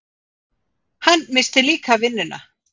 Hann missti líka vinnuna.